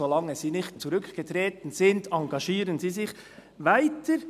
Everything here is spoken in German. «Solange sie nicht zurückgetreten sind, engagieren sie sich weiter.